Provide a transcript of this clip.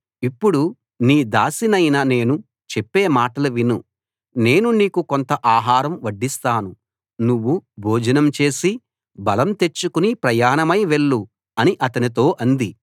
ఇప్పుడు నీ దాసినైన నేను చెప్పే మాటలు విను నేను నీకు కొంత ఆహారం వడ్డిస్తాను నువ్వు భోజనం చేసి బలం తెచ్చుకుని ప్రయాణమై వెళ్ళు అని అతనితో అంది